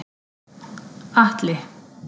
Atli